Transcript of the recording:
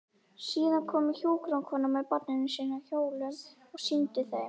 Síðan kom hjúkrunarkonan með barnarúm á hjólum og sýndi þeim.